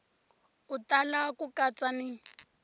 u tala ku katsa ni